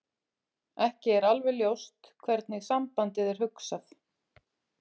Ekki er alveg ljóst hvernig sambandið er hugsað.